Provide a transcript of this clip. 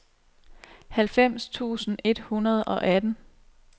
halvfems tusind et hundrede og atten